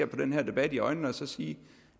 den her debat i øjnene og sige